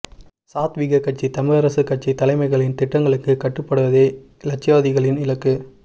சாத்வீக கட்சி தமிழரசு கட்சி தலைமைகளின் திட்டங்களுக்கு கட்டு படுவதே இலட்சியவாதிகளின் இலக்கு